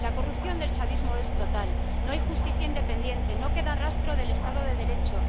La corrupción del chavismo es total no hay justicia independiente, no queda rastro del Estado de Derecho.